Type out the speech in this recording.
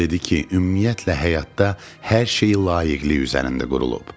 O dedi ki, ümumiyyətlə həyatda hər şey layiqilik üzərində qurulub.